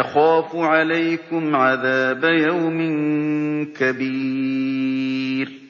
أَخَافُ عَلَيْكُمْ عَذَابَ يَوْمٍ كَبِيرٍ